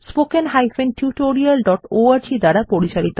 এই বিষয়ে বিস্তারিত তথ্য এই লিঙ্ক এ প্রাপ্তিসাধ্য